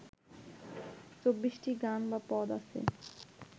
চব্বিশটি গান বা পদ আছে